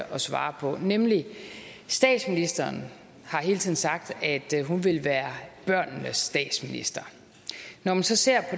svare på statsministeren har hele tiden sagt at hun vil være børnenes statsminister når man så ser